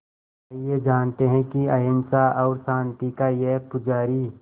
आइए जानते हैं कि अहिंसा और शांति का ये पुजारी